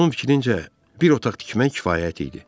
Ramın fikrincə bir otaq tikmək kifayət idi.